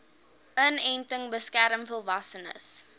inenting beskerm volwassenes